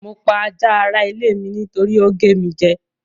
Mo pa ajá ara ilé mi nítorí ó gé mi jẹ́.